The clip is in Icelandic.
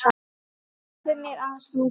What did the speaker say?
Segðu mér aðeins frá því?